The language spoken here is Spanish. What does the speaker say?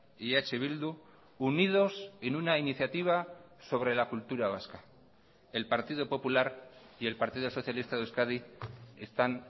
y eh bildu unidos en una iniciativa sobre la cultura vasca el partido popular y el partido socialista de euskadi están